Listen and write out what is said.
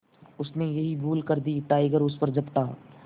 उसने यही भूल कर दी टाइगर उस पर झपटा